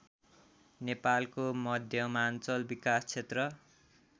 नेपालको मध्यमाञ्चल विकास क्षेत्र